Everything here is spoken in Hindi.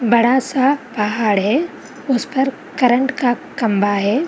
बड़ा सा पाहड़ है। उस पर करंट का खम्बा है।